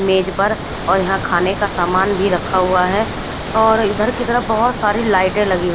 मेज पर और यहाँ खाने का सामान भी रखा हुआ है और इधर की तरफ बहुत सारी लाईटे लगी हुई--